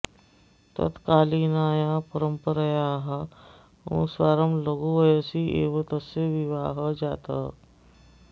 तत्कालीनायाः परम्परयाः अनुसारं लघुवयसि एव तस्य विवाहः जातः